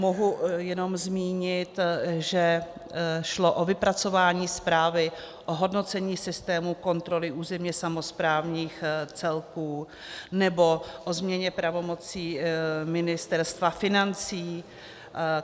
Mohu jenom zmínit, že šlo o vypracování zprávy o hodnocení systému kontroly územně samosprávných celků nebo o změně pravomocí Ministerstva financí.